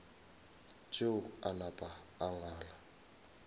tšeo a napa a ngala